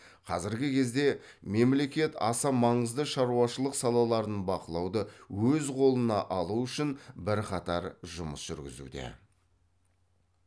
қазіргі кезде мемлекет аса маңызды шаруашылық салаларын бақылауды өз қолына алу үшін бірқатар жұмыс жүргізуде